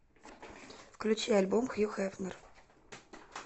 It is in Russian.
включи альбом хью хефнер